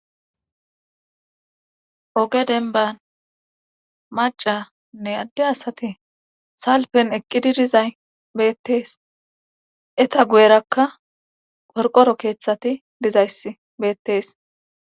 oge denban macanne adde asati salpen eqqidi dizay beettees eta guyerakka korqoro keeththati dizayss beettees